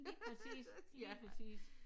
Lige præcis lige præcis